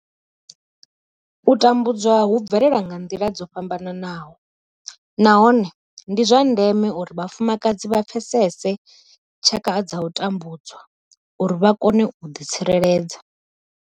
U tambudzwa hu bvelela nga nḓila dzo fhambanaho nahone ndi zwa ndeme uri vhafumakadzi vha pfesese tshaka dza u tambudzwa uri vha kone u ḓitsireledza.